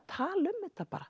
tala um þetta